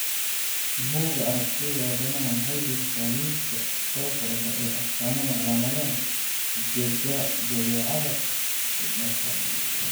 Buugga Aragtiyaha Aadanaha waxay bixisaa liiska soo socda ee astamaha iyo calaamadaha jadeecada ku dhasha.